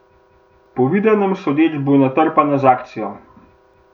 Po videnem sodeč bo natrpana z akcijo.